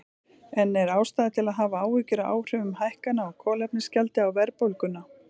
En er ástæða til að hafa áhyggjur af áhrifum hækkana á kolefnisgjaldi á verðbólguna?